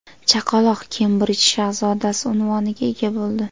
Chaqaloq Kembrij shahzodasi unvoniga ega bo‘ldi.